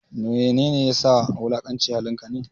Mene ne ya sa wulakanci halin ka ne?